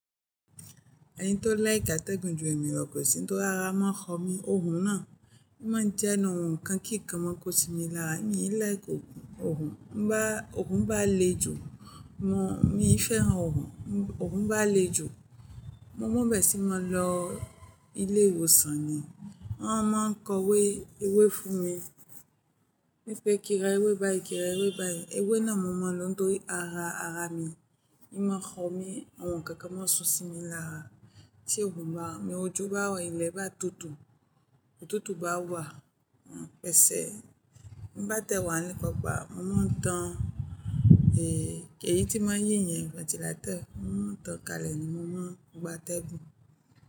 Ẹni tó like àtẹ̀gùn ju ẹ̀mí rọ, kò sí tó rara máa ń kọ mí oun náà. Ó máa ń jẹnu, oùn kan kì í kan mọ́ kó sí mi lára. Èmi lé è kò oùn, ń bá oùn bá le jù mọ́, èmi fẹ́ran oùn. Oùn bá le jù, mo múbẹ̀sí, mo lọ ilé ìwòsàn ni. Wọ́n a máa ń kọwé ewé fún mi. Mi fẹ́ kí ra ewé báyìí, kí ra ewé báyìí. Ewé náà mo mọ̀ lóun tó ara ara mi. Ó máa ń kọ mí, oùn kan kan máa ń sun sí mi lára. Tí oùn bá, mi ojú bá wà ilẹ̀ bá tutù, òtútù bá wà, mo ń pèsè. Mo bá tẹ wà nípa ọ̀pá, mo máa ń tàn èyí tí wọ́n yín yẹn ventilator. Mo máa ń tàn kalẹ̀ ni mo máa ń gba tẹ́gùn.